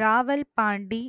Rawal Pandi